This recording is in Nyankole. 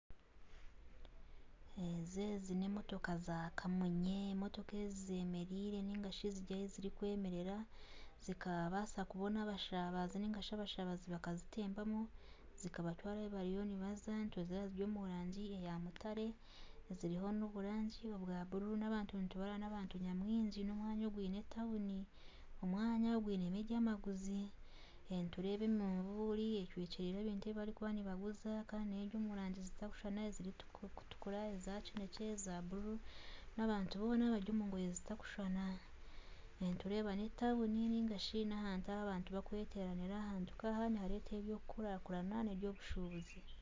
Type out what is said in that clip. Ezi ni emotoka za kamunye motoka ezi zemereire ningashi ahu ziri kwemerera zikabasa kubona abashabazi zikabatwara ahu barikuba nibaza ziri omu rangi ya mutare ziriho na oburangi bwa bururu n'abantu nitubareba ni abantu nyamwingi na omwanya ogwe ni etawuni omwanya ogwinemu ebyamaguzi nitureba eminvuri eshwekyereire ebintu ebibarikuba nibaguza kandi eri omurangi etarukushushana kandi eri omu rangi erikutukura eza kinekye eza bururu kandi abantu boona bari omu ngoye zitarukushushana nitureba ni etawuni niharetwaho ebyokukurakurana na ebya obushubuzi.